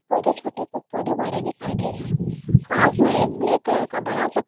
पौधे छोटे कुछ पौधे बड़े दिखाई दे रहे है। पास में एक ब्लैक कलर का बड़ा सा --